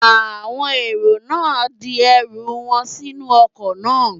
Àwọn èrò náà di ẹrù wọn sínú ọkọ̀ náà